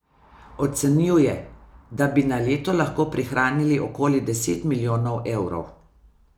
Ocenjuje, da bi na leto lahko prihranili okoli deset milijonov evrov.